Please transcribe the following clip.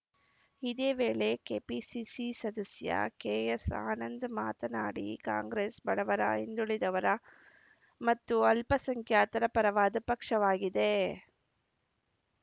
ಇದೇ ವೇಳೆ ಕೆಪಿಸಿಸಿ ಸದಸ್ಯ ಕೆಎಸ್‌ ಆನಂದ್‌ ಮಾತನಾಡಿ ಕಾಂಗ್ರೆಸ್‌ ಬಡವರ ಹಿಂದುಳಿದವರ ಮತ್ತು ಅಲ್ಪ ಸಂಖ್ಯಾತರ ಪರವಾದ ಪಕ್ಷವಾಗಿದೆ